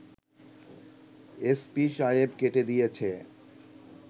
SP সাহেব কেটে দিয়েছে